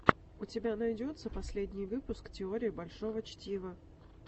у тебя найдется последний выпуск теории большого чтива